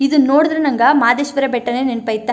ಇದು ನೋಡಿದ್ರೆ ನಂಗೆ ಮಹದೇಶ್ವರ ಬೆಟ್ಟನೇ ನೆನಪಾಯಿತೇ.